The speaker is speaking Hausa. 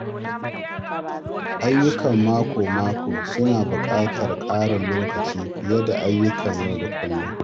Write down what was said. Ayyukan mako-mako suna buƙatar ƙarin lokaci fiye da ayyukan yau da kullum.